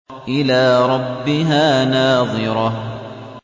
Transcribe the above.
إِلَىٰ رَبِّهَا نَاظِرَةٌ